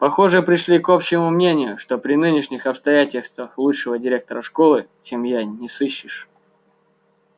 похоже пришли к общему мнению что при нынешних обстоятельствах лучшего директора школы чем я не сыщешь